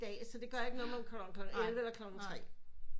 Dag så det gør ikke noget om man kommer klokken elleve eller klokken tre